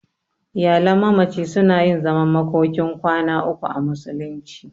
Iyalan mamaci suna yin zaman makokin kwana uku a musulunci.